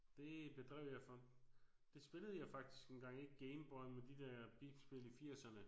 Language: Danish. Det bedrev jeg for det spillede jeg faktisk engang ikke Game Boy men de der bipspil i firserne